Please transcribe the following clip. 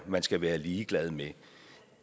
man skal være ligeglad med